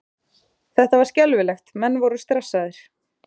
Þetta var skelfilegt, menn voru stressaðir.